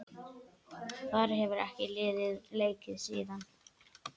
Þar hefur liðið leikið síðan.